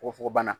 Fogofogobana